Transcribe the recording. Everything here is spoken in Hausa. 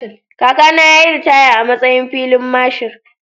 Kakana ya yi ritaya a matsayin filin Marshal.